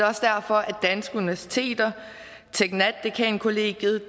også derfor at universiteter teknat dekankollegiet